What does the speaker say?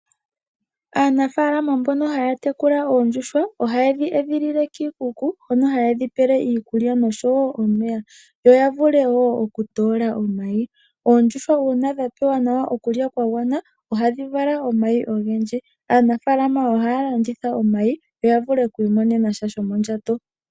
Aanafalama mbono haya tekula oondjuhwa oha ye dhi edhilile kiikuku hono haye dhi pele iikulya noshowo omeya yo ya vule wo okutoola omayi. Oondjuhwa uuna dha pewa nawa okulya kwa gwana oha dhi vala omayi ogendji aanafalama oha ya landitha omayi ya vule okwiimonenasha shomondjato.